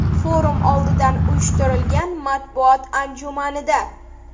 Forum oldidan uyushtirilgan matbuot anjumanida.